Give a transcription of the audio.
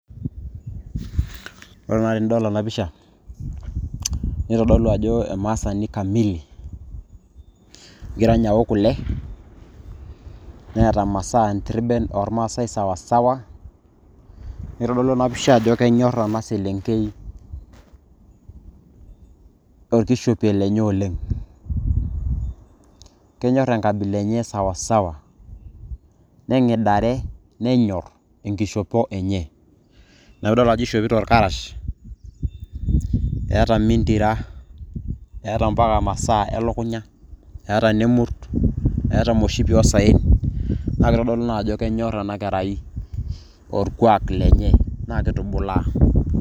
ore naa tenidol ena pisha nitodolu ajo emaasani kamili. negira ninye aok kule, neeta masaa oo ntirben sawasawa. neitodolu ena pisha ajo kenyor ena selenkei, orkishopie lenye oleng. kenyor enkabila enye sawasawa. negidare, nenyor, enkishopo enye, ina pee idol ajo eishopito irkarash, eeta mintira, eeta mpaka masaa elukunya. eeta ine murt, eeta emoshipi oosaaen, naa kitodolu naa ajo enyor ena kerai, orkuak lenye naa kitubulaa.